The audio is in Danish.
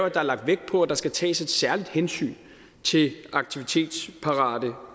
at der er lagt vægt på at der skal tages et særligt hensyn til aktivitetsparate